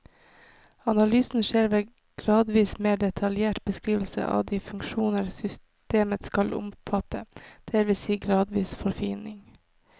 Analysen skjer ved gradvis mer detaljert beskrivelse av de funksjoner systemet skal omfatte, det vil si gradvis forfining.